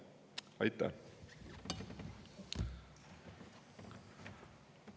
Aitäh!